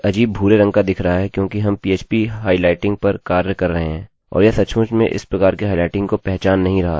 अच्छा मैं अभी alex को एकोecho करने जा रहा हूँ